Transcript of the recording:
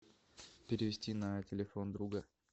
перевести на телефон друга